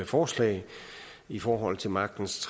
forslag i forhold til magtens